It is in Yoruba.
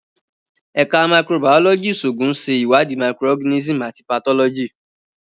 Ẹka Microbiology Iṣoogun ṣe iwadi microorganisms ati pathology.